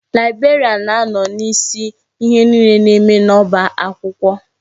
Laibrarian na-anọ n'isi ihe niile na-eme n'ọba akwụkwọ.